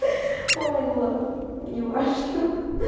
ха ой ну ладно неважно ха-ха